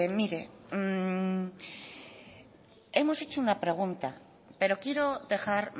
hemos hecho una pregunta pero quiero dejar